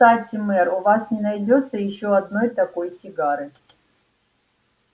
кстати мэр у вас не найдётся ещё одной такой сигары